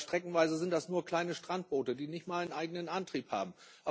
Aber streckenweise sind das nur kleine Strandboote, die nicht einmal einen eigenen Antrieb haben.